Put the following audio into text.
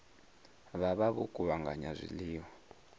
vha vha vho kuvhanganya zwiḽiwa